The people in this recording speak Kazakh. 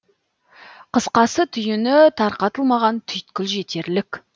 қысқасы түйіні тарқатылмаған түйткіл жетерлік